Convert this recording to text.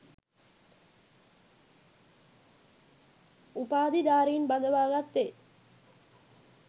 උපාධිධාරීන් බඳවා ගත්තේ